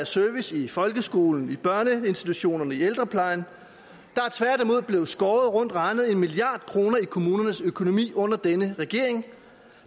service i folkeskolen i børneinstitutionerne i ældreplejen der er tværtimod blevet skåret rundt regnet en milliard kroner i kommunernes økonomi under denne regering